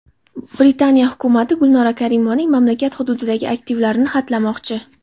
Britaniya hukumati Gulnora Karimovaning mamlakat hududidagi aktivlarini xatlamoqchi.